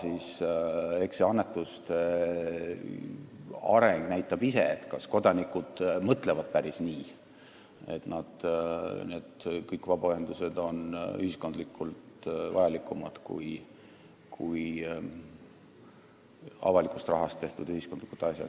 Eks annetuste areng ise näitab, kas kodanikud mõtlevad päris nii, et kõik vabaühendused on ühiskondlikult vajalikumad kui avaliku rahaga tehtud ühiskondlikud asjad.